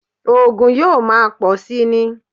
Ògùn yóò máa pọ̀ síi ni